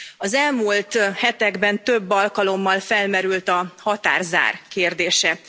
Az elmúlt hetekben több alkalommal felmerült a határzár kérdése.